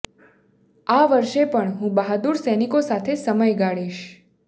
આ વર્ષે પણ હું બહાદુર સૈનિકો સાથે સમય ગાળીશ